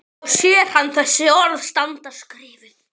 Þá sér hann þessi orð standa skrifuð: